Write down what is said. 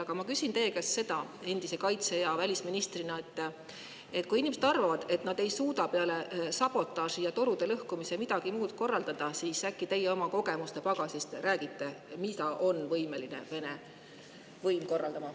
Aga ma küsin teie kui endise kaitse‑ ja välisministri käest seda, et kui inimesed arvavad, et ei suuda peale sabotaaži ja torude lõhkumise midagi muud korraldada, siis äkki teie oma kogemuste pagasi põhjal räägite, mida on Vene võim võimeline korraldama.